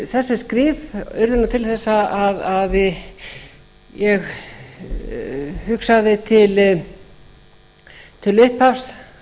þessi skrif urðu til þess að ég hugsaði til upphafs